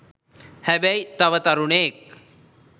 හැබැයි තව තරුණයෙක්